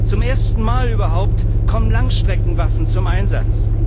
Zum ersten Mal überhaupt kommen Langstreckenwaffen zum Einsatz.